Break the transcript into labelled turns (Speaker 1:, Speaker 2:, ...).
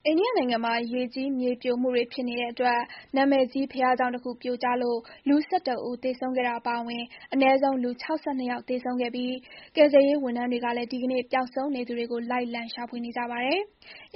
Speaker 1: အိန္ဒိယနိုင်ငံမှာ ရေကြီး မြေပြိုမှုတွေဖြစ်နေတဲ့အတွက် နာမည်ကြီး ဘုရားကျောင်းတခု ပြိုကျလို့ လူ ၁၁ ဦး သေဆုံးခဲ့တာအပါအဝင် အနည်းဆုံး လူ ၆၂ ယောက် သေဆုံးခဲ့ပြီး ကယ်ဆယ်ရေးဝန်ထမ်းတွေကလည်း ဒီကနေ့ ပျောက်ဆုံးနေသူတွေကို လိုက်လံ ရှာဖွေနေကြပါတယ်။